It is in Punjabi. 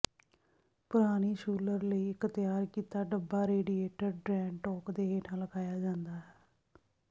ਪੁਰਾਣੀ ਸ਼ੂਲਰ ਲਈ ਇੱਕ ਤਿਆਰ ਕੀਤਾ ਡੱਬਾ ਰੇਡੀਏਟਰ ਡ੍ਰੈਣ ਟੋਕ ਦੇ ਹੇਠਾਂ ਲਗਾਇਆ ਜਾਂਦਾ ਹੈ